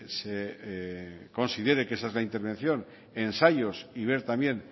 se considere que esa es la intervención ensayos y ver también